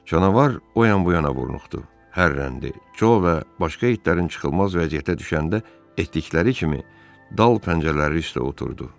Canavar o yan-bu yana vurnuxdu, hürrəndi, Co və başqa itlərin çıxılmaz vəziyyətdə düşəndə etdikləri kimi dal pəncələri üstə oturdu.